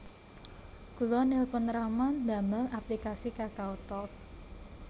Kula nelpon rama ndamel aplikasi KakaoTalk